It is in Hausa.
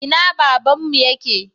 Ina babanmu yake?